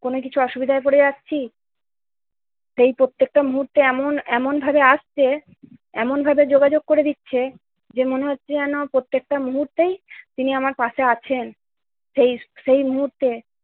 কোন কিছু অসুবিধায় পড়ে যাচ্ছি সে প্রত্যেকটা মুহূর্তে এমন এমন ভাবে আসছে, এমন ভাবে যোগাযোগ করে দিচ্ছে, যে মনে হচ্ছে যেন প্রত্যেকটা মুহূর্তেই তিনি আমার পাশে আছেন। সেই-সেই মুহূর্তে